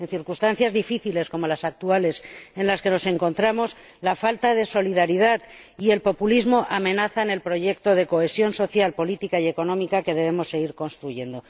En circunstancias difíciles, como las actuales en las que nos encontramos, la falta de solidaridad y el populismo amenazan el proyecto de cohesión social, política y económica que debemos seguir construyendo.